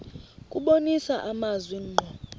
kubonisa amazwi ngqo